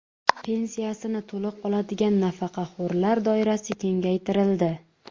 Pensiyasini to‘liq oladigan nafaqaxo‘rlar doirasi kengaytirildi.